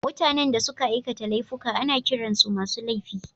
Mutanen da suka aikata laifuka ana kiran su masu laifi